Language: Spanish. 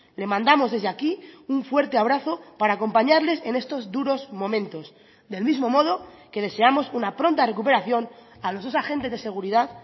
le mandamos desde aquí un fuerte abrazo para acompañarles en estos duros momentos del mismo modo que deseamos una pronta recuperación a los dos agentes de seguridad